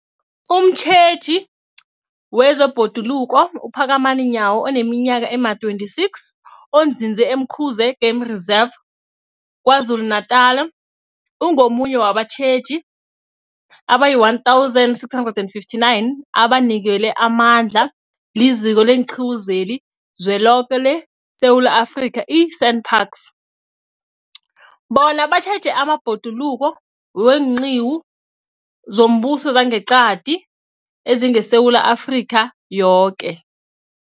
Umtjheji wezeBhoduluko uPhakamani Nyawo oneminyaka ema-26, onzinze e-Umkhuze Game Reserve KwaZulu-Natala, ungomunye wabatjheji abayi-1 659 abanikelwe amandla liZiko leenQiwu zeliZweloke leSewula Afrika, i-SANParks, bona batjheje amabhoduluko weenqiwu zombuso nezangeqadi ezingeSewula Afrika yoke.